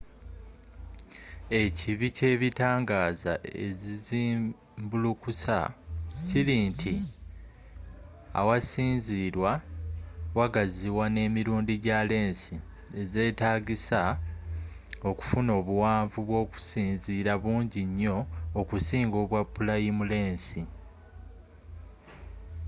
ekibi kyebitangaaza ezizimbulukusa kiri nti awasinzirwa wagaziwa n' emirundi gya lensi ez'etagisa okufuna obuwanvu bwokusinziira bungi nyo okusinga obwa pulayimu lensi